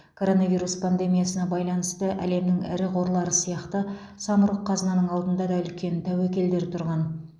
коронавирус пандемиясына байланысты әлемнің ірі қорлары сияқты самұрық қазынаның алдында да үлкен тәуекелдер тұрған